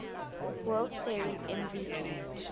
world series mvp